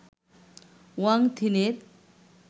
Wang থিনের